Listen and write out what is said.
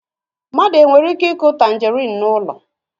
Mmadụ e nwere ike ịkụ tangerine n'ụlọ